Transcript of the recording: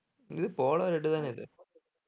இது polo red தானே இது